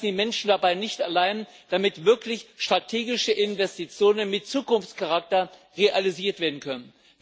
Wir lassen die Menschen dabei nicht allein, damit wirklich strategische Investitionen mit Zukunftscharakter realisiert werden können.